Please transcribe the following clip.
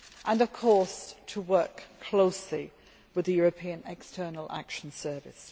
and, of course, to work closely with the European External Action Service.